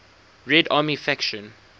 red army faction